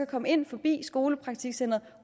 komme ind forbi skolepraktikcentret